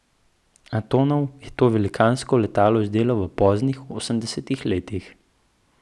Antonov je to velikansko letalo izdelal v poznih osemdesetih letih.